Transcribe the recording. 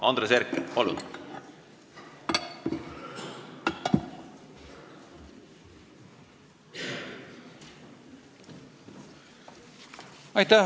Andres Herkel, palun!